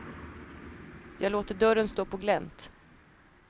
Jag låter dörren stå på glänt.